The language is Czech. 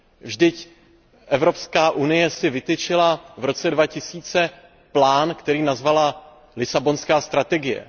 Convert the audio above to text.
Vždyť Evropská unie si vytyčila v roce 2000 plán, který nazvala Lisabonská strategie.